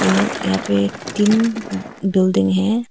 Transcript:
और यहां पे टीन बिल्डिंग है।